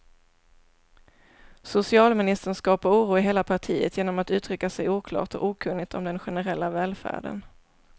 Socialministern skapar oro i hela partiet genom att uttrycka sig oklart och okunnigt om den generella välfärden.